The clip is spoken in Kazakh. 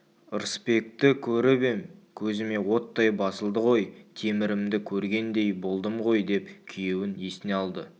ырысбекті көріп ем көзіме оттай басылды ғой темірімді көргендей болдым ғой деп күйеуін есіне алды